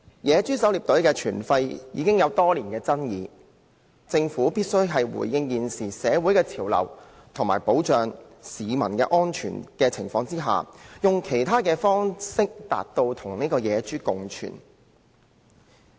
野豬狩獵隊的存廢已爭議多年，政府必須回應現時的社會潮流，以及在保障市民安全的情況下，以其他方式達致人類與野豬共存。